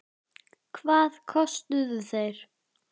Hvað kostuðu þeir?